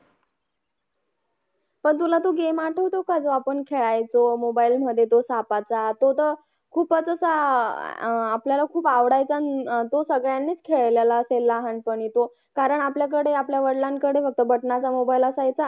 पण तुला तो Game आठवतो का तो आपण खेळायचो Mobile मध्ये तो सापाचा तो तर खूपच असा आह आपल्याला खूप आवडायचा अन तो सगळ्यांनीच खेळलेला असेल लहानपणी तो कारण आपल्याकडे आपल्या वडिलांकडे होतं बटनाचा Mobile असायचा